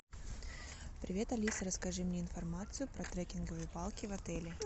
привет алиса расскажи мне информацию про трекинговые палки в отеле